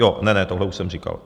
Ne, ne, tohle už jsem říkal.